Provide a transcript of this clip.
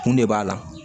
Kun de b'a la